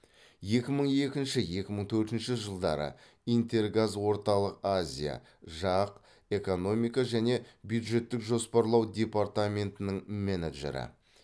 екі мың екінші екі мың төртінші жылдары интергаз орталық азия жақ экономика және бюджеттік жоспарлау департаментінің менеджері